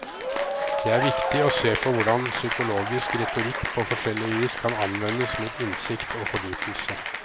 Det er viktig å se på hvordan psykologisk retorikk på forskjellig vis kan anvendes mot innsikt og fordypelse.